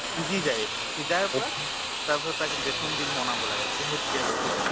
সিজি যায়, সিজাৰ পৰা তাৰ পিছত তাক বেচন দি বনাব লাগে। বহুত tasteful হয়।